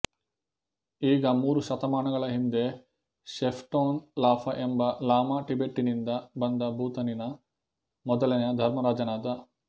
ಈಗ ಮೂರು ಶತಮಾನಗಳ ಹಿಂದೆ ಷೆಪ್ಟೂನ್ ಲಾಫಾ ಎಂಬ ಲಾಮಾ ಟಿಬೆಟ್ಟಿನಿಂದ ಬಂದು ಭೂತಾನಿನ ಮೊದಲನೆಯ ಧರ್ಮರಾಜನಾದ